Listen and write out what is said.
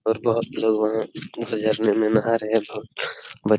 बोहोत लोग जाने में नाहा रहे हैं। बच्चे --